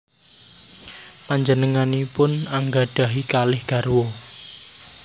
Panjenenganipun anggadhahi kalih garwa